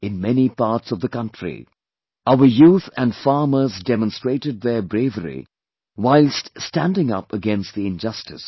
In many parts of the country, our youth and farmers demonstrated their bravery whilst standing up against the injustice